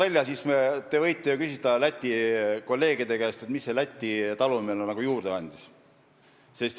Aga te võite ju küsida Läti kolleegide käest, mis see Läti talumehele juurde andis.